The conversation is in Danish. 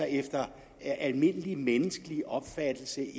efter almindelig menneskelig opfattelse